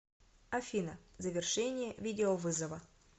афина завершение видеовызова